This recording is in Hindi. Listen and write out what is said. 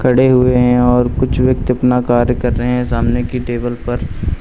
खड़े हुए है और कुछ व्यक्ति अपना कार्य कर रहे सामने की टेबल पर।